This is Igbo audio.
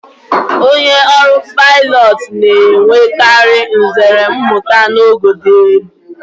Onye ọrụ paịlọtụ na-enwekari nzere mmụta n'ogo dị elu.